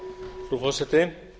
frú forseti